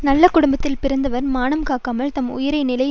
நல்ல குடும்பத்தில் பிறந்தவர் மானம் காக்காமல் தம் உயர்ந்த நிலையை